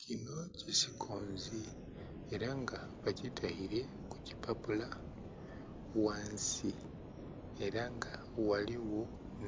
Kinho kisikwonzi era nga bakitaire kukipapula ghansi era nga ghaligho